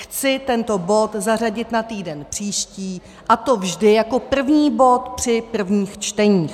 Chci tento bod zařadit na týden příští, a to vždy jako první bod při prvních čteních.